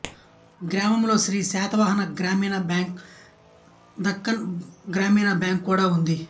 గ్రామములో శ్రీ శాతవాహన గ్రామీణ బ్యాంక్ దక్కన్ గ్రామీణ బ్యాంక్ కూడా ఉంది